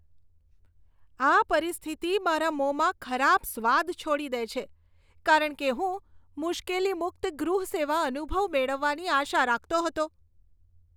આ પરિસ્થિતિ મારા મોંમાં ખરાબ સ્વાદ છોડી દે છે, કારણ કે હું મુશ્કેલી મુક્ત ગૃહ સેવા અનુભવ મેળવવાની આશા રાખતો હતો.